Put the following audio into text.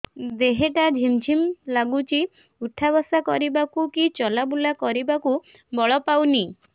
ଦେହେ ହାତ ଝିମ୍ ଝିମ୍ ଲାଗୁଚି ଉଠା ବସା କରିବାକୁ କି ଚଲା ବୁଲା କରିବାକୁ ବଳ ପାଉନି